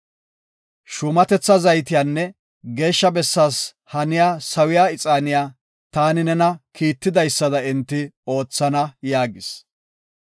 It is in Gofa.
shuumatetha zaytiyanne Geeshsha Bessaas haniya sawiya ixaaniya, taani nena kiitidaysada enti oothana” yaagis.